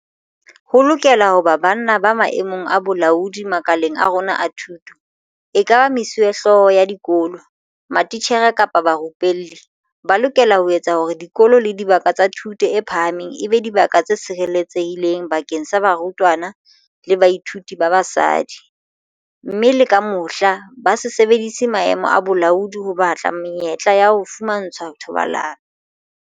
Ho lokela ho ba banna ba maemong a bolaodi makaleng a rona a thuto, ekaba mesuwehlooho ya dikolo, matitjhere kapa barupelli, ba lokelang ho etsa hore dikolo le dibaka tsa thuto e phahameng e be dibaka tse sireletsehileng bakeng sa barutwana le bathuiti ba basadi, mme le ka mohla, ba se sebedise maemo a bolaodi ho batla menyetla ya ho fumantshwa thobalano.